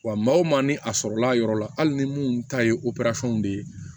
Wa maa o maa ni a sɔrɔla a yɔrɔ la hali ni minnu ta ye de ye